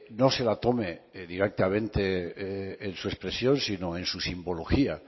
no se la tome directamente en su expresión sino en su simbología